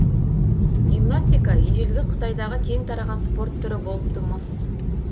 гимнастика ежелгі қытайдағы кең тараған спорт түрі болыпты мыс